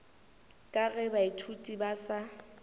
ka ge baithuti ba sa